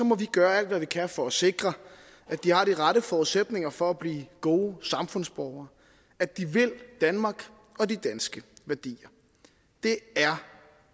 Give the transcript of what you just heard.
må vi gøre alt hvad vi kan for at sikre at de har de rette forudsætninger for at blive gode samfundsborgere at de vil danmark og de danske værdier det er